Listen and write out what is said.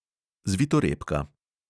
Zvitorepka.